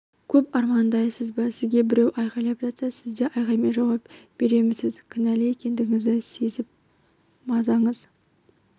көп армандайсыз ба сізге біреу айғайлап жатса сіз де айғаймен жауап беремісіз кінәлі екендігіңізді сезіп мазаңыз